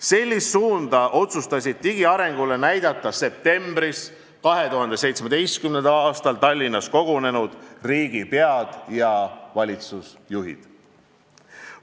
Sellist suunda otsustasid digiarengule näidata septembris 2017. aastal Tallinnas kogunenud riigipead ja valitsusjuhid.